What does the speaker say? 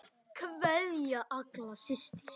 Kveðja, Agla systir.